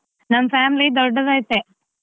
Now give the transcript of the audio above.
ನಮ್ family ದೊಡ್ಡದೈತೆ.